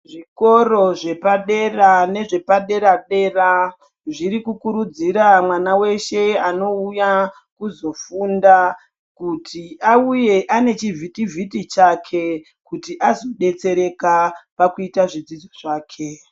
Zvikoro zvepadera nezvepadera dera zviri kukurudzira mwana weshe unouya kuzofunda kuti auye ane chivhiti vhiti chake. Kuti azodetsereka pakuita zvidzidzo zvake.